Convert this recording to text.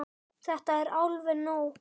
Það er alveg nóg.